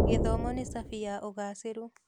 Gĩthomo nĩ cabi ya ũgaacĩru.